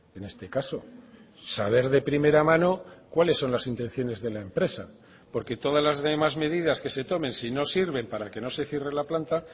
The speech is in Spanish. en este caso saber de primera mano cuáles son las intenciones de la empresa porque todas las demás medidas que se tomen si no sirven para que no se cierre la planta